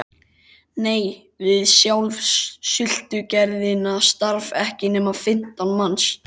Nei, við sjálfa sultugerðina starfa ekki nema fimmtán manns